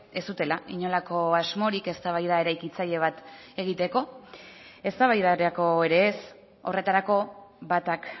ez zutela inolako asmorik eztabaida eraikitzaile bat egiteko eztabaidarako ere ez horretarako batak